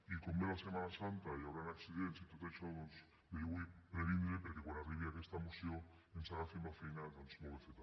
i com ve la setmana santa i hi hauran accidents i tot això doncs bé jo vull prevenir perquè quan arribi aquesta moció ens agafi amb la feina molt ben feta